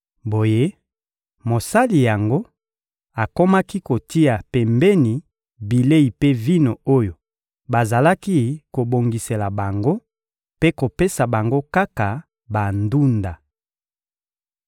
Boye, mosali yango akomaki kotia pembeni bilei mpe vino oyo bazalaki kobongisela bango mpe kopesa bango kaka bandunda.